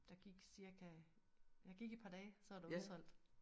Der gik cirka der gik et par dage så var der udsolgt